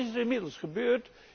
Wat is er inmiddels gebeurd?